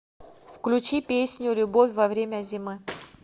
включи песню любовь во время зимы